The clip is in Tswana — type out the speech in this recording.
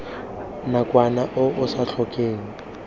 nakwana o o sa tlhokeng